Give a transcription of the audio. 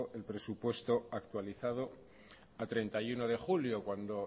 el presupuesto actualizado a treinta y uno de julio cuando